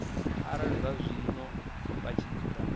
arali zwazwino vha tshi dzula